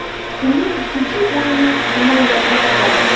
Kunning ikkinchi o‘yini Namanganda kechadi.